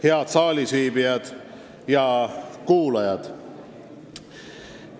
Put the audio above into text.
Head saalis viibijad ja mujal kuulajad!